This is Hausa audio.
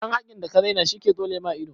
Ɗan hakin da ka raina shi ke tsole ma ido.